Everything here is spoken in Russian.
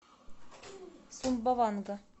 сумбаванга